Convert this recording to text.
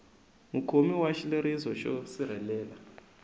mukhomi wa xileriso xo sirhelela